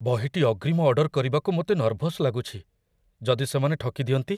ବହିଟି ଅଗ୍ରିମ ଅର୍ଡର କରିବାକୁ ମୋତେ ନର୍ଭସ୍ ଲାଗୁଛି, ଯଦି ସେମାନେ ଠକି ଦିଅନ୍ତି?